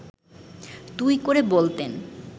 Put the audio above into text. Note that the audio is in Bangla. তুই করে বলতেন